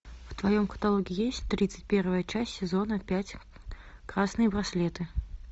в твоем каталоге есть тридцать первая часть сезона пять красные браслеты